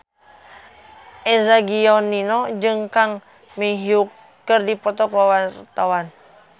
Eza Gionino jeung Kang Min Hyuk keur dipoto ku wartawan